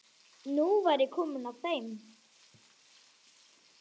Nú væri komið að þeim.